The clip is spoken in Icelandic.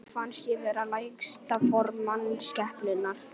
Mér fannst ég vera lægsta form mannskepnunnar.